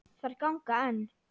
Þær ganga enn.